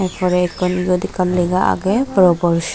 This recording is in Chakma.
porey ekkan eyot ekkan lega agey proporisad.